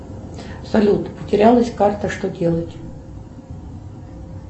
салют потерялась карта что делать